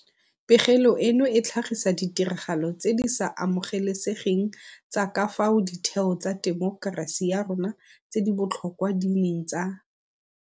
Pegelo eno e tlhagisa ditiragalo tse di sa amogelesegeng tsa ka fao ditheo tsa temokerasi ya rona tse di botlhokwa di neng tsa